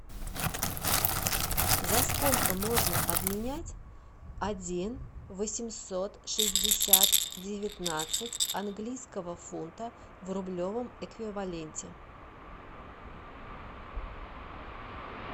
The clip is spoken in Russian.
за сколько можно обменять один восемьсот шестьдесят девятнадцать английского фунта в рублевом эквиваленте